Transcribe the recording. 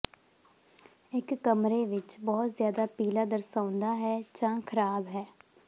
ਇੱਕ ਕਮਰੇ ਵਿੱਚ ਬਹੁਤ ਜ਼ਿਆਦਾ ਪੀਲਾ ਦਰਸਾਉਂਦਾ ਹੈ ਜਾਂ ਖਰਾਬ ਹੈ